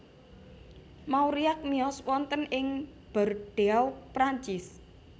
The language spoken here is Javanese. Mauriac miyos wonten ing Bordeaux Prancis